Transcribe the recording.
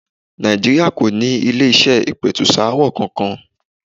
Nàìjíríà kò ní ilé-iṣẹ́ ìpẹ̀tùsááwọ̀ kankan.